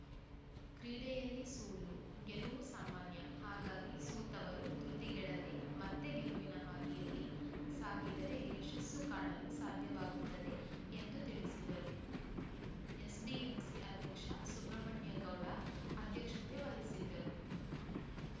ಕ್ರೀಡೆಯಲ್ಲಿ ಸೂಲು ಗೆಲುವು ಸಾಮಾನ್ಯ ಹಾಗಾಗಿ ಸೂತವರು ದೃತಿಗೆಡದೇ ಮತ್ತೆ ಗೆಲುವಿನ ಹಾದಿಯಲ್ಲಿ ಸಾಗಿದರೆ ಯಶಸ್ಸು ಕಾಣಲು ಸಾಧ್ಯವಾಗುತ್ತದೆ ಎಂದು ತಿಳಿಸಿದರು ಎಸ್‌ಡಿಎಂಸಿ ಅಧ್ಯಕ್ಷ ಸುಬ್ರಹ್ಮಣ್ಯಗೌಡ ಅಧ್ಯಕ್ಷತೆ ವಹಿಸಿದ್ದರು